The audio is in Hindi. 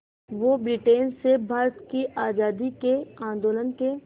वो ब्रिटेन से भारत की आज़ादी के आंदोलन के